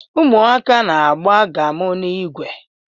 Ụmụaka na-agba gamu in igwe